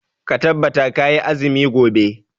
Ka tabbata kayi azumi gobe.